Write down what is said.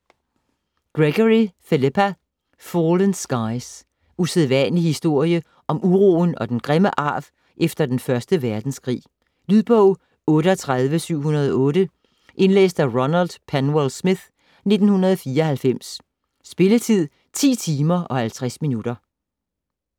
Gregory, Philippa: Fallen skies Usædvanlig historie om uroen og den grimme arv efter den første verdenskrig. Lydbog 38708 Indlæst af Ronald Penwell-Smith, 1994. Spilletid: 10 timer, 50 minutter.